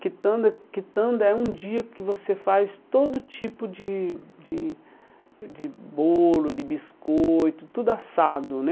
Kitanda kitanda é um dia que você faz todo tipo de de de bolo, de biscoito, tudo assado, né?